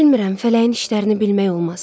Bilmirəm, fələyin işlərini bilmək olmaz.